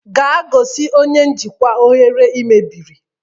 Gaa gosi onye njikwa oghere ị mebiri!